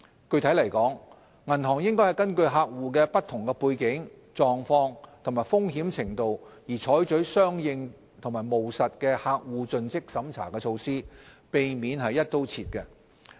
具體來說，銀行應該根據客戶的不同背景、狀況和風險程度而採取相應和務實的客戶盡職審查措施，避免"一刀切"。